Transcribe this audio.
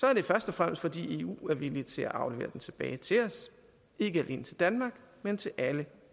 er det først og fremmest fordi eu er villig til at aflevere den tilbage til os ikke alene til danmark men til alle